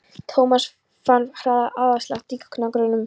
Thomas fann hraðan æðaslátt í gagnaugunum.